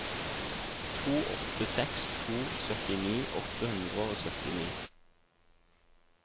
to åtte seks to syttini åtte hundre og syttini